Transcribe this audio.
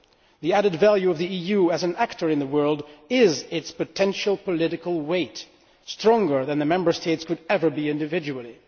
The added value of the EU as an actor in the world is its potential political weight it is stronger than the Member States could ever be individually.